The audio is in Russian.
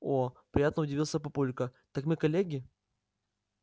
о-о-о приятно удивился папулька так мы коллеги